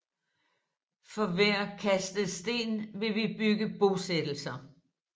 For hver kastet sten vil vi bygge ti bosættelser